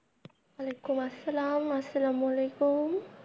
অলাইকুম আসসালাম আসসালামু আলাইকুম।